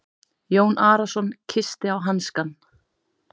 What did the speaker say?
Jón Arason kyssti á hanskann.